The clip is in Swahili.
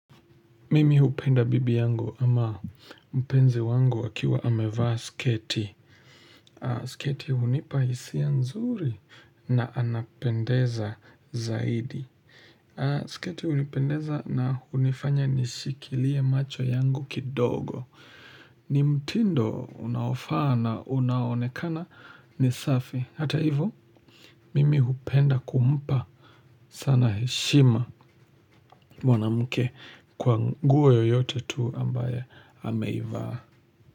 Mimi hupenda bibi yangu ama mpenzi wangu akiwa amevaa sketi sketi hunipa hisia nzuri na anapendeza zaidi sketi hunipendeza na hunifanya nishikilie macho yangu kidogo ni mtindo unaofaa na unaonekana ni safi ata ivo mimi hupenda kumpa sana heshima mwanamke kwa nguo yoyote tu ambaye ameivaa.